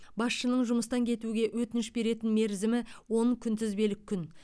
басшының жұмыстан кетуге өтініш беретін мерзімі он күнтізбелік күн